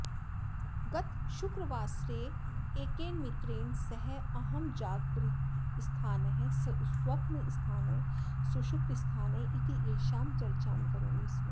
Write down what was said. गतशुक्रवासरे एकेन मित्रेण सह अहं जागरितस्थानः स्वप्नस्थानः सुषुप्तस्थानः इत्येषां चर्चां करोमि स्म